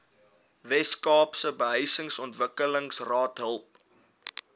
weskaapse behuisingsontwikkelingsraad help